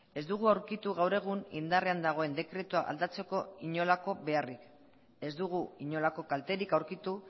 ez dugu aurkitu gaur egun indarrean dagoen dekretua aldatzeko inolako beharrik ez dugu inolako kalterik aurkitu